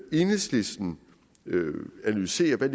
enhedslisten analyserer hvad